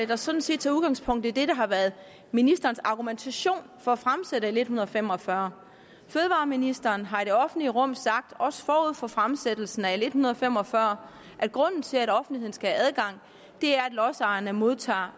der sådan set tager udgangspunkt i det der har været ministerens argumentation for at fremsætte l en hundrede og fem og fyrre fødevareministeren har i det offentlige rum sagt også forud for fremsættelsen af l en hundrede og fem og fyrre at grunden til at offentligheden skal have adgang er at lodsejerne modtager